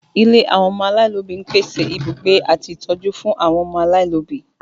Ilé àwọn ọmọ aláìlóbi ń pèsè ibùgbé àti ń ṣe ìtọ́jú fún àwọn ọmọ aláìlóbi